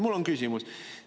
Mul on küsimus.